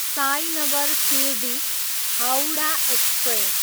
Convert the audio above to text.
Sainagar Shirdi, Howrah express